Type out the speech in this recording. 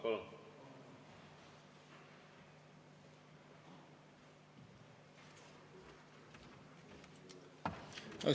Palun!